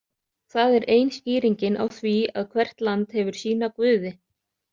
Það er ein skýringin á því að hvert land hefur sína guði.